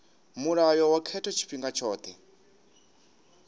mulayo wa khetho tshifhinga tshothe